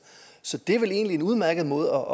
så det er vel egentlig en udmærket måde